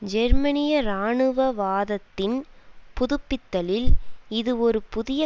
ஜெர்மனிய இராணுவவாதத்தின் புதுப்பித்தலில் இது ஒரு புதிய